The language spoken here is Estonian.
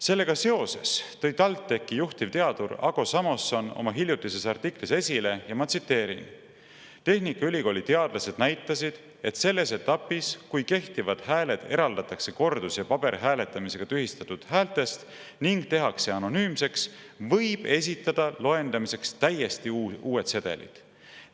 Sellega seoses tõi TalTechi juhtivteadur Ago Samoson oma hiljutises artiklis esile, ma tsiteerin: "Tehnikaülikooli teadlased näitasid, et selles etapis, kui kehtivad hääled eraldatakse kordus- ja paberhääletamisega tühistatud häältest ning tehakse anonüümseks, võib esitada loendamiseks täiesti uued sedelid.